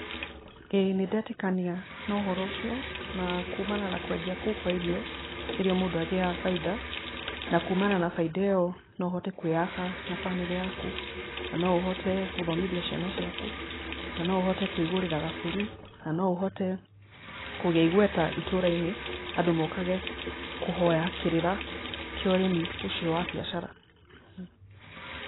Ĩĩ nĩndetĩkania na ũhoro ũcio na kumana na kwendia kũo kwa irio nĩrĩo mũndũ agĩaga bainda. Na kumana na bainda ĩyo no ũhote kwĩyaka na bamĩrĩ yaku, na no ũhote gũthomithia ciana ciaku, na no ũhote kwĩgũrĩra gabũri, na noũhote kũgĩa igweta itũra-inĩ, andũ mokage kũhoya kĩrĩra kĩa ũrĩmi ũcio wa biacara.